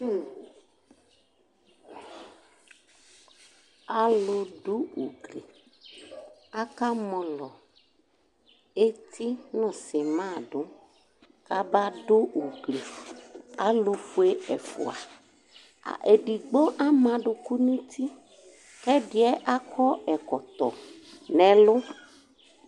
Aludu ugli aka mɔlɔ eti nʋ sima du, kaba ugli Alufue ɛfʋa, edigbo ama aduku nʋ uti, kʋ ɛdɩɛ akɔ ɛkɔtɔ nʋ ɛlʋ